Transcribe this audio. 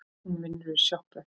Hún vinnur í sjoppu